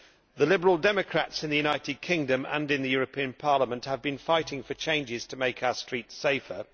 The Liberal Democrats in the United Kingdom and in the European Parliament have been fighting for changes to make our streets safer.